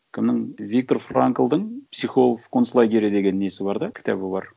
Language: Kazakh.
кімнің виктор франклдың психолог в концлагере деген несі бар да кітабы бар